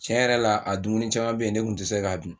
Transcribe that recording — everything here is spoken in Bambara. Tiɲɛ yɛrɛ la a dumuni caman bɛ yen ne tun tɛ se k'a dun